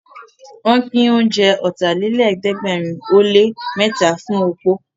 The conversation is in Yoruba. Wọ́n pín oúnjẹ Ọ̀tàlélẹ̀ẹ́dẹ́gbẹ̀rin ó lé mẹ́ta fún opó